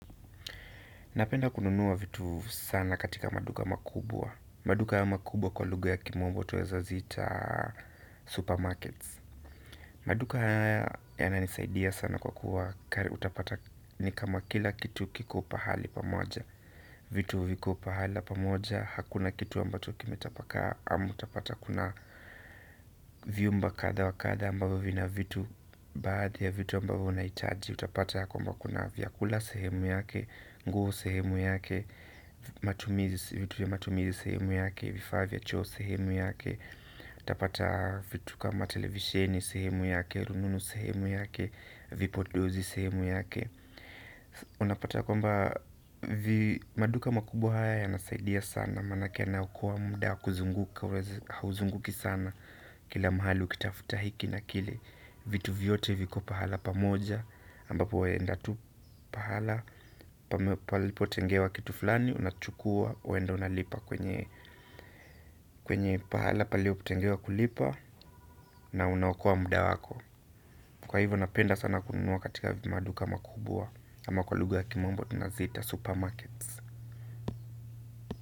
Napenda kununua vitu sana katika maduka makubwa maduka ya makubwa kwa lugha ya kimombo twaeza zita supermarkets maduka haya yananisaidia sana kwa kuwa utapata ni kama kila kitu kiko pahali pamoja vitu viko pahala pamoja hakuna kitu ambacho kime tapaka ama utapata kuna vyumba katha wa katha ambavyo vina vitu baadhi ya vitu ambavyo unahitaji utapata yakwamba kuna vyakula sehemu yake nguo sehemu yake matumizi, vitu vya matumizi sehemu yake vifaa vya choo sehemu yake utapata vitu kama televisheni sehemu yake rununu sehemu yake vipodozi sehemu yake unapata yakwamba maduka makubwa haya ya nasaidia sana manake yanaokoa muda kuzunguka. Hauzunguki sana kila mahali ukitafuta hiki na kile vitu vyote viko pahala pamoja ambapo waenda tu pahala palipotengewa kitu fulani unachukuwa waenda unalipa kwenye kwenye pahala palipo tengewa kulipa na unaokoa muda wako kwa hivyo napenda sana kununua katika maduka makubwa ama kwa lugha ya kimombo tunazita supermarkets.